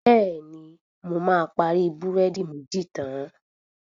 Bẹ̀ẹ̀ni, mo máa parí búrẹ́dì méjì tán.